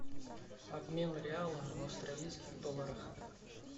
обмен реала в австралийских долларах